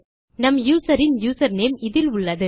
நம் userன் user name இதில் உள்ளது